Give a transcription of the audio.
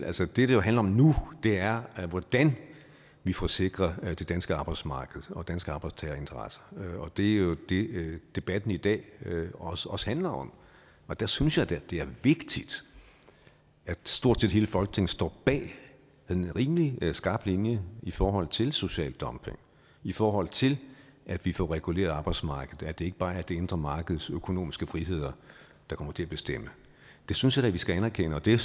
altså det det jo handler om nu er hvordan vi får sikret det danske arbejdsmarked og danske arbejdstagerinteresser og det er jo det debatten i dag også også handler om og der synes jeg da det er vigtigt at stort set hele folketinget står bag en rimelig skarp linje i forhold til social dumping i forhold til at vi får reguleret arbejdsmarkedet sådan at det ikke bare er det indre markeds økonomiske friheder der kommer til at bestemme det synes jeg da vi skal anerkende og det